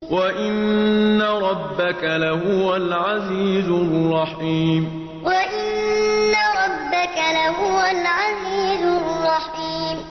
وَإِنَّ رَبَّكَ لَهُوَ الْعَزِيزُ الرَّحِيمُ وَإِنَّ رَبَّكَ لَهُوَ الْعَزِيزُ الرَّحِيمُ